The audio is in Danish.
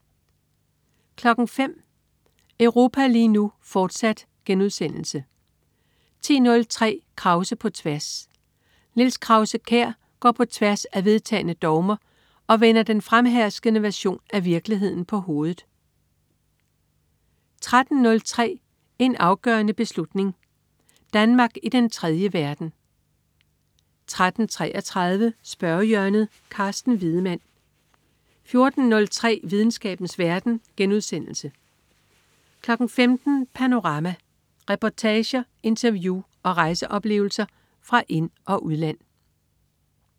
05.00 Europa lige nu, fortsat* 10.03 Krause på tværs. Niels Krause-Kjær går på tværs af vedtagne dogmer og vender den fremherskende version af virkeligheden på hovedet 13.03 En afgørende beslutning. Danmark i den tredje verden 13.33 Spørgehjørnet. Carsten Wiedemann 14.03 Videnskabens verden* 15.00 Panorama. Reportager, interview og rejseoplevelser fra ind- og udland